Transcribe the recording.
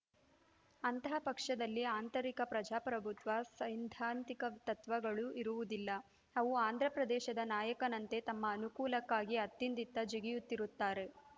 ಅಂತಹ ಪಕ್ಷದಲ್ಲಿ ಆಂತರಿಕ ಪ್ರಜಾಪ್ರಭುತ್ವ ಸೈದ್ಧಾಂತಿಕ ತತ್ವಗಳು ಇರುವುದಿಲ್ಲ ಅವು ಆಂಧ್ರಪ್ರದೇಶದ ನಾಯಕನಂತೆ ತಮ್ಮ ಅನುಕೂಲಕ್ಕಾಗಿ ಅತ್ತಿಂದಿತ್ತ ಜಿಗಿಯುತ್ತಿರುತ್ತಾರೆ